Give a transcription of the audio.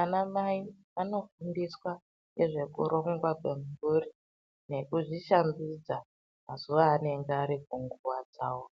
Ana mai anofundiswa ngezvekuringwa kwemhuri nekuzvishambidza mazuwa avanenge vari kunguwa dzawo